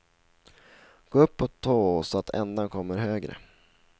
Gå upp på tå så att ändan kommer högre.